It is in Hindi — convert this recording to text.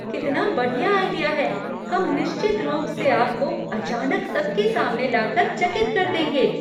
कितना बढ़िया आइडिया है! हम निश्चित रूप से आपको अचानक सबके सामने लाकर चकित कर देंगे।